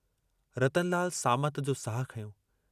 रतनलाल सामत जो साहु खंयो।